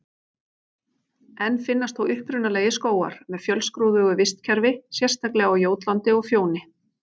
Enn finnast þó upprunalegir skógar með fjölskrúðugu vistkerfi, sérstaklega á Jótlandi og Fjóni.